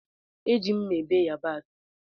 Eji m mmá ebe yabasi.